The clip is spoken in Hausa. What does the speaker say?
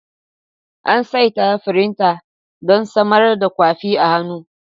An saita firinta don samar da kwafi a hannu.